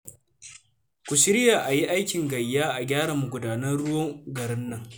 Ku shirya a yi aikin gayya a gyara magudanan ruwan garin nan